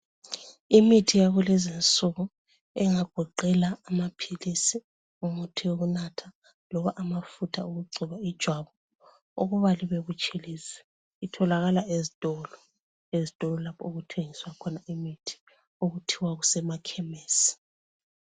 Imithi yakulezi insuku engagoqela amaphilisi umuthi yekunatha noma amafutho wokugcoba ijwabu ukuba libe butshelezi itholakala ezitolo lapho okuthengiswa khona imithi okuthiwa kusema khemisi